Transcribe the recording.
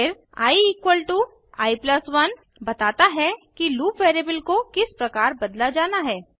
फिर i i1 बताता है कि लूप वैरिएबल को किस प्रकार बदला जाना है